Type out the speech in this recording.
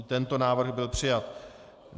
I tento návrh byl přijat.